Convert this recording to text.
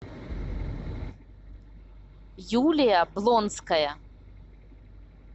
юлия блонская